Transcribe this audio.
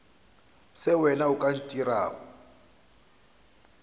se wena o ka ntirago